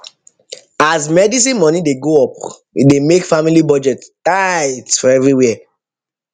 as medicine money dey go up e dey make family budget tight for everywhere